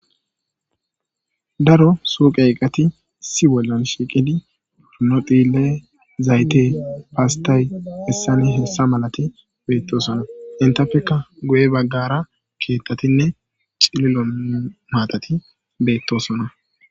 daro suuqe eqqati isi bollan shiiqidi pornodhile zayte paastay hessani hessa malati beettosona intapeka goye baggara keettatinne cililo maatati beettosona